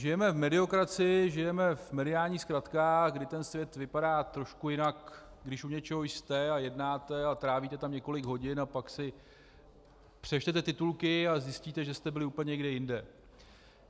Žijeme v mediokracii, žijeme v mediálních zkratkách, kdy ten svět vypadá trošku jinak, když u něčeho jste a jednáte a trávíte tam několik hodin, a pak si přečtete titulky a zjistíte, že jste byli úplně někde jinde.